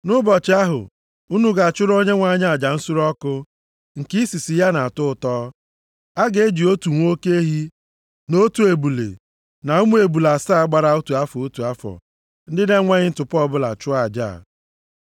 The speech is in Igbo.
Nʼụbọchị ahụ, unu ga-achụrụ Onyenwe anyị aja nsure ọkụ, nke isisi ya na-atọ ya ụtọ. A ga-eji otu nwa oke ehi, na otu ebule, na ụmụ ebule asaa gbara otu afọ, otu afọ ndị na-enweghị ntụpọ chụọ aja a.